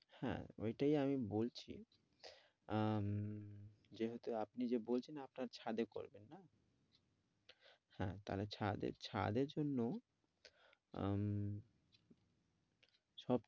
হ্যাঁ, ওইটাই আমি বলছি আহ উহ যেহেতু আপনি যে বলছেন আপনার ছাদে করবেন হ্যাঁ তা হলে ছাদে এর জন্য আহ সব